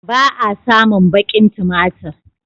Ba a samun baƙin tumatir.